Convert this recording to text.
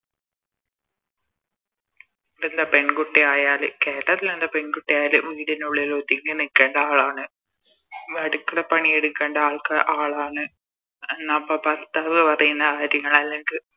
പിന്നെ പെൺകുട്ടി ആയാല് കേ പെൺകുട്ടി ആയാല് വീടിനുള്ളിൽ ഒതുങ്ങി നിൽക്കേണ്ട ആളാണ് അടുക്കള പണി എടുക്കേണ്ട ആൾക്ക ആളാണ് എന്നപ്പോ ഭർത്താവ് പറയുന്ന കാര്യങ്ങൾ അല്ലെങ്കി